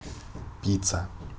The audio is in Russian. пицца